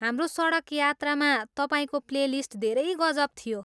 हाम्रो सडक यात्रामा तपाईँको प्लेलिस्ट धेरै गजब थियो।